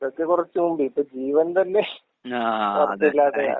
ഇതൊക്കെ കൊറച്ച് മുമ്പ്. ഇപ്പ ജീവൻ തന്നെ ഒറപ്പില്ലാതെയാ.